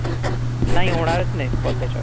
नाही होणारच नाही कॉल त्याच्यावर.